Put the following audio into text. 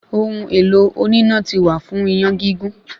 Ohun èlò oníná ti wà fún iyán gígún